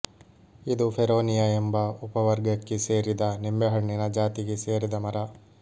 ಇದು ಫೆರೋನಿಯ ಎಂಬ ಉಪವರ್ಗಕ್ಕೆ ಸೇರಿದ ನಿಂಬೆಹಣ್ಣಿನ ಜಾತಿಗೆ ಸೇರಿದ ಮರ